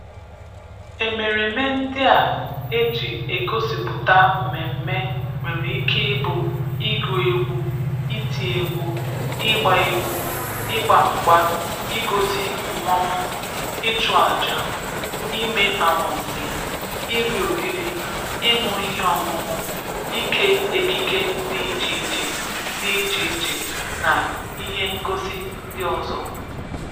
Emereme ndị a e ji egosipụta mmemme nwere ike ịbụ ịgụ egwu, iti egwu, ịgba egwu, ịgba mgba, igosi mmọnwụ, ịchụ aja, ime anwansị, iri oriri, ịñụ ihe ọñụnụ, ike ekike dị iche iche dị iche iche na ihe ngosi ndị ọzọ.